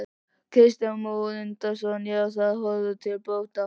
Kristján Már Unnarsson: Já, það horfir til bóta?